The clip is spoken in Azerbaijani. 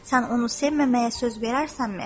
Sən onu sevməməyə söz verərsənmi?